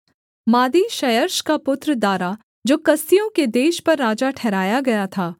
मादी क्षयर्ष का पुत्र दारा जो कसदियों के देश पर राजा ठहराया गया था